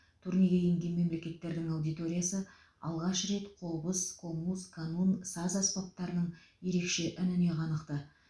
турнеге енген мемлекеттердің аудиториясы алғаш рет қобыз комуз канун саз аспаптарының ерекше үніне қанықты